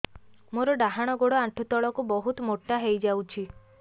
ମୋର ଡାହାଣ ଗୋଡ଼ ଆଣ୍ଠୁ ତଳକୁ ବହୁତ ମୋଟା ହେଇଯାଉଛି